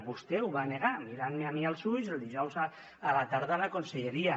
vostè ho va negar mirant me a mi als ulls el dijous a la tarda a la conselleria